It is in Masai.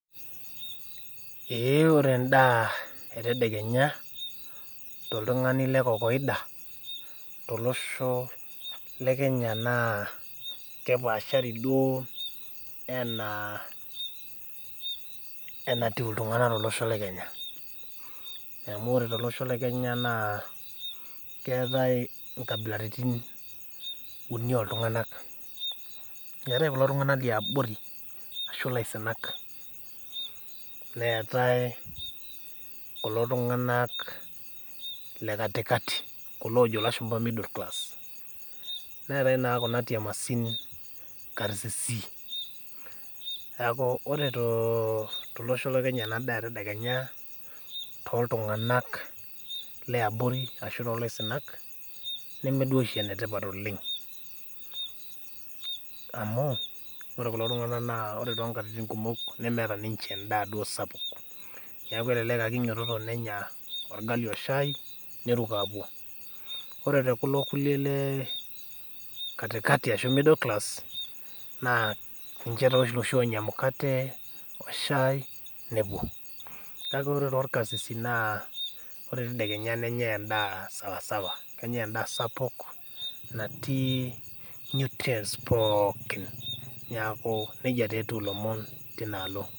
Eeh ore endaa etedekenya toltung'ani lekokoida tolosho le Kenya naa kepaahari duoo enaa enatiu iltung'ana tolosho le Kenya. Amu ore tolosho le Kenya naa keetai inkabilaritin uni oltung'anak. Eetai kulo tung'anak liabori ashu ilaisinak neetai kulo tung'anak le katikati kuloojo lashumba middle class neetai naa kuna tiemasin karsisi. Neaku ore too tolosho le kenya enadaa etadekenya toltung'anak leabori ashu tolaisinak nemeduoshi enetipat oleng' amu ore kulo tung'anak ore tonkatitin kumok nemeeta ninche endaa duo sapuk neaku elelek ake einyototo nenya olgali oshai neruko apuo. Ore te kulo kulie lee  katikati ashu middle class naa ninche taa loshi onya emukate, oshai nepuo. Kake ore tolkarsisi naa ore tadekenya nenyai endaa sawasawa, kenyai endaa sapuk natii nutrients pooki neaku neija teetiu ilomon tinaalo.